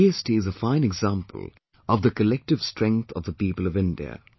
GST is a fine example of the collective strength of the people of India